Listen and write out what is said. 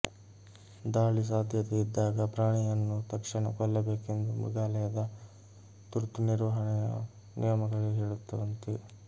ದಾಳಿ ಸಾಧ್ಯತೆಯಿದ್ದಾಗ ಪ್ರಾಣಿಯನ್ನು ತಕ್ಷಣ ಕೊಲ್ಲಬೇಕೆಂದು ಮೃಗಾಲಯದ ತುರ್ತು ನಿರ್ವಹಣೆಯ ನಿಯಮಗಳೇ ಹೇಳುತ್ತವಂತೆ